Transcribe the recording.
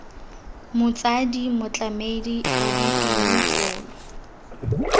motsadi motlamedi abuti yo mogolo